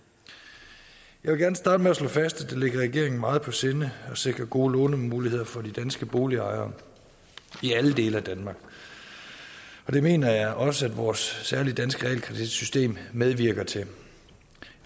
jeg vil gerne starte med at slå fast at det ligger regeringen meget på sinde at sikre gode lånemuligheder for de danske boligejere i alle dele af danmark det mener jeg også at vores særlige danske realkreditsystem medvirker til